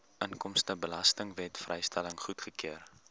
inkomstebelastingwet vrystelling goedgekeur